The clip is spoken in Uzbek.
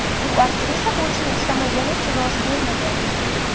U aktrisa bo‘lishni istamagani uchun rozi bo‘lmagan.